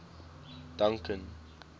duncan